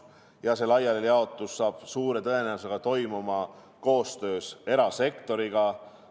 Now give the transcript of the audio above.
Ja see laialijaotus saab suure tõenäosusega toimuma koostöös erasektoriga.